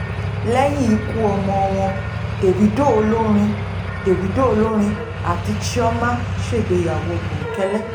lẹ́yìn ikú ọmọ wọn davido olórin davido olórin àti chioma ṣègbéyàwó bòńkẹ́lẹ́